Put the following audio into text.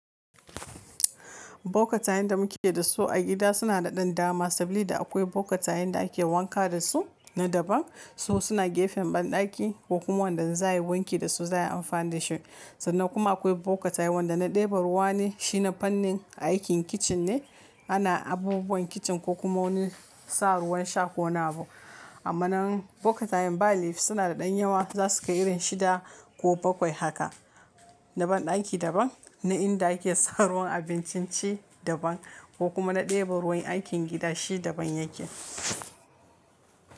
Bokatai da muke da su a gida suna da dama, saboda akwai bokatai da ake wanka da su na daban. Wasu suna gefen banɗaki ko kuma wanda zai yi wanki da su zai amfanar da shi. Sannan kuma akwai bokatai wanda na ɗebe ruwa ne, shi na fannin aikin kicin ne. Ana abubuwan kicin ko kuma wani sa ruwan sha ko nabo. Amma nan bokatai ba laifi suna da ɗan yawa. Za su kai irin shida ko bakwai haka. Na banɗaki daban, na inda ake sa ruwan abincin ci daban ko kuma na ɗebe ruwan aikin gida shi daban yake.